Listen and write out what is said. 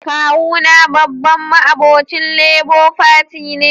Kawu na babban ma'obocin Labour Party ne.